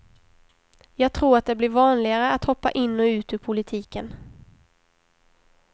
Jag tror att det blir vanligare att hoppa in och ut ur politiken.